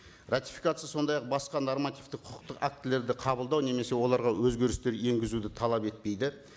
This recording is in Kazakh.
ратификация сондай ақ басқа нормативті құқықтық актілерді қабылдау немесе оларға өзгерісер енгізуді талап етпейді